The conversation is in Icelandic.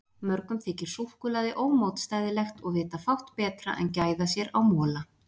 Mörgum þykir súkkulaði ómótstæðilegt og vita fátt betra en gæða sér á mola.